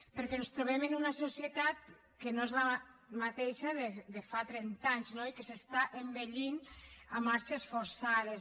perquè ens trobem en una societat que no és la mateixa de fa trenta anys no i que s’està envellint a marxes forçades